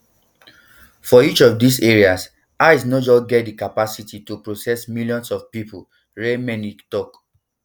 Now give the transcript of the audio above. for each of dis areas ice no just get di um capacity to um process millions of pipo reichlinmelnick tok